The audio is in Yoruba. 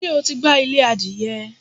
Ṣé o ti gbá ilé adìyẹ?